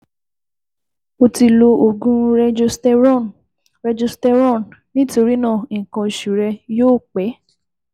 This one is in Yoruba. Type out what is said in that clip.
O ti lo oògùn Regesterone Regesterone nítorí náà, nǹkan oṣù rẹ yóò pẹ́